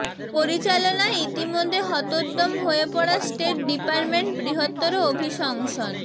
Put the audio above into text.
পরিচালনায় ইতোমধ্যে হতোদ্যম হয়ে পড়া স্টেট ডিপার্টমেন্ট বৃহত্তর অভিশংসন